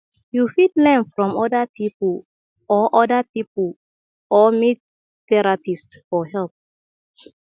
you fit learn from oda pipo or oda pipo or meet therapist for help